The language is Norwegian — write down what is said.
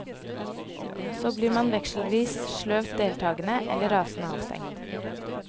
Så blir man vekselvis sløvt deltagende eller rasende avstengt.